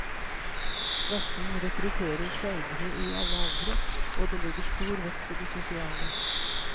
Klassen rekrutterer seilere i alle aldre, og det legges stor vekt på det sosiale.